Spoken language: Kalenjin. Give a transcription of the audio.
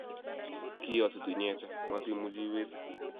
kiiyositu inyete matiimuchi iwise